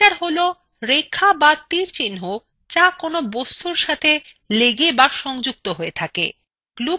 connectors হলো রেখা বা তীরচিন্হ যা কোনো বস্তুর সাথে লেগে বা সংযুক্ত থাকে